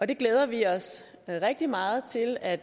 det glæder vi os rigtig meget til at